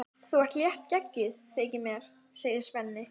Þú ert léttgeggjuð, þykir mér, segir Svenni.